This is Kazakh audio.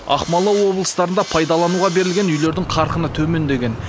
ақмола облыстарында пайдалануға берілген үйлердің қарқыны төмендеген